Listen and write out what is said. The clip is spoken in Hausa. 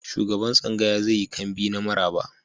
Shugaban tsangaya zai yi kambi na maraba.